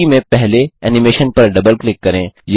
सूची में पहले एनिमेशन पर डबल क्लिक करें